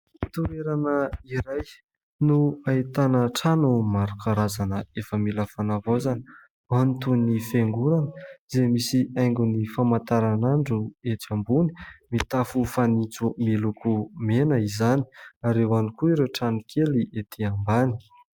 Toerana iray no ahitana trano maro karazana efa mila fanavaozana, ao ny toy ny fiangonana izay misy haingony famantaranandro etsy ambony, mitafo fanitso miloko mena izany ary eo ihany koa ireo tranokely etỳ ambany.